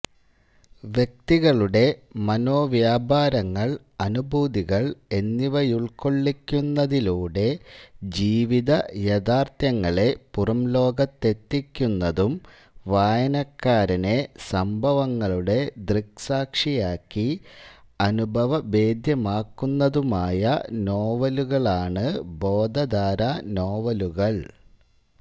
വ്യക്തികളുടെ മനോവ്യാപാരങ്ങൾ അനുഭൂതികൾ എന്നിവയുൾക്കൊള്ളിക്കുന്നതിലൂടെ ജീവിത യാഥാർത്ഥ്യങ്ങളെ പുറംലോകത്തെത്തിക്കുന്നതും വായനക്കാരനെ സംഭവങ്ങളുടെ ദൃക്സാക്ഷിയാക്കി അനുഭവഭേദ്യമാക്കുന്നതുമായ നോവലുകളാണ് ബോധധാരാ നോവലുകൾ